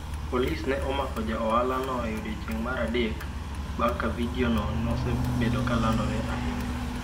Polis ne omako ja ohalano e odiechieng’ mar adek bang’ ka videono nosebedo ka landore ahinya.